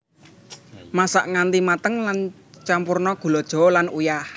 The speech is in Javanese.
Masak nganti mateng lan campurna gula jawa lan uyah